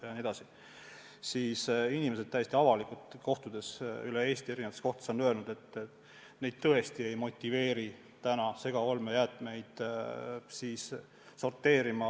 Samas on inimesed täiesti avalikult, kui ma olen nendega üle Eesti, erinevates kohtades kohtunud, öelnud, et nad tõesti ei ole praegu motiveeritud segaolmejäätmeid sorteerima.